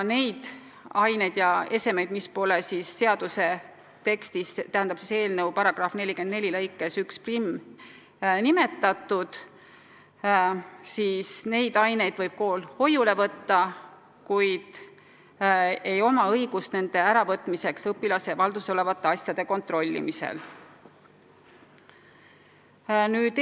Neid aineid ja esemeid, mis pole seaduse tekstis, täpsemalt § 44 lõikes 11 nimetatud, võib kool hoiule võtta, kuid tal pole õigust neid õpilase valduses olevate asjade kontrollimisel ära võtta.